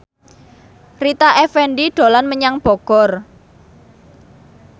Rita Effendy dolan menyang Bogor